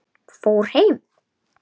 Fór heim?